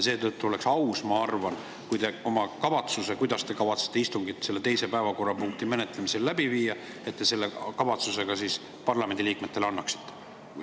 Seetõttu oleks, ma arvan, aus, kui te oma kavatsuse, kuidas te plaanite istungit selle teise päevakorrapunkti menetlemisel läbi viia, parlamendi liikmetele teada annaksite.